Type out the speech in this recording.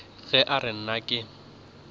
ge a re nna ke